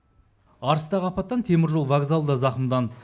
арыстағы апаттан теміржол вокзалы да зақымданды